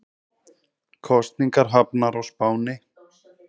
Kosningar hafnar á Spáni